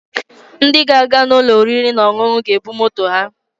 Ndi ga-aga n'ulo oriri na onunu ga-ebu moto ha.